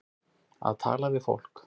Að tala við fólk